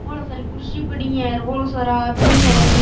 बोली सारी कुर्सी पड़ी है बोली सारा आदमी है र इने।